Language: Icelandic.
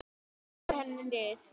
Leggur henni lið.